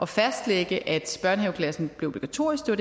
fastlægge at børnehaveklassen blev obligatorisk det